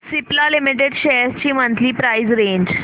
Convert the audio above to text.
Cipla limited shares ची monthly price range